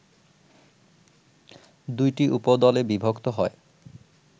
দুইটি উপদল এ বিভক্ত হয়